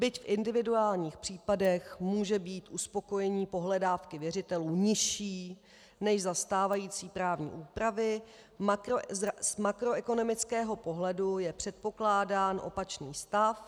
Byť v individuálních případech může být uspokojení pohledávky věřitelů nižší než za stávající právní úpravy, z makroekonomického pohledu je předpokládán opačný stav.